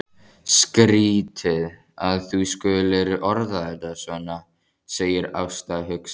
Skrýtið að þú skulir orða þetta svona, segir Ásta hugsi.